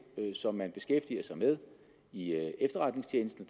som man beskæftiger sig med i efterretningstjenesten